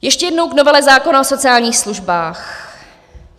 Ještě jednou k novele zákona o sociálních službách.